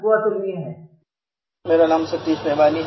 My name is Satish Bewani